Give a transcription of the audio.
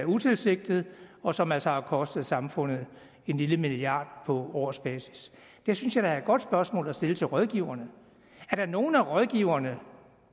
utilsigtet og som altså har kostet samfundet en lille milliard på årsbasis det synes jeg da er et godt spørgsmål at stille til rådgiverne er der nogle af rådgiverne